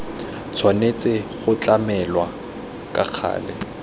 tshwanetse go tlamelwa ka gale